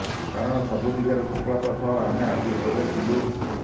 କାରଣ ସବୁ ଦିଗରେ ସଫଳତା ସହ ଆମେ ଆଗରେ ଥିଲୁ